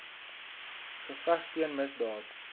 geveg teen misdaad